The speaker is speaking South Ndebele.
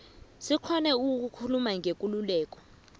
sikghone ukukhuluma ngekululeko